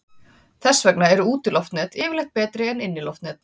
Þess vegna eru útiloftnet yfirleitt betri en inniloftnet.